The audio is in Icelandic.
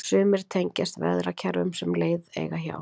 Sumar tengjast veðrakerfum sem leið eiga hjá.